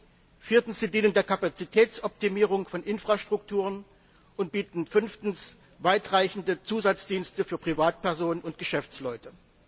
sie dienen viertens der Kapazitätsoptimierung von Infrastrukturen und bieten fünftens weitreichende Zusatzdienste für Privatpersonen und Geschäftsleute.